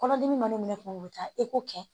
Kɔnɔdimi mana minɛ kuma bɛ taa kɛ